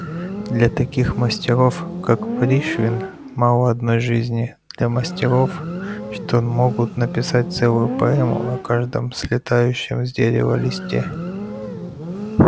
для таких мастеров как пришвин мало одной жизни для мастеров что могут написать целую поэму о каждом слетающем с дерева листе